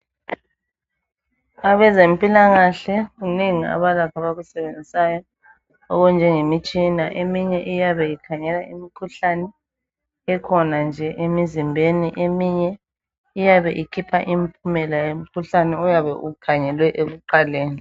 Abezempilakahle kunengi abalakho abakusebenzisayo okunjengemitshina. Eminye iyabe ikhangela imikhuhlane ekhona nje emizimbeni, eminye iyabe ikhipha impumela yemikhuhlaneni oyabe ukhangelwe ekuqaleni.